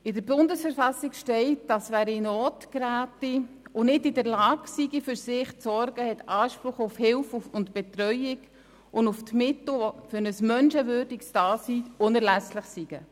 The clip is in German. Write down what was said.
In der Bundesverfassung der Schweizerischen Eidgenossenschaft (BV) steht, dass wer in Not gerät und nicht in der Lage ist, für sich zu sorgen, Anspruch auf Hilfe, Betreuung und die Mittel hat, die für ein menschenwürdiges Dasein unerlässlich sind.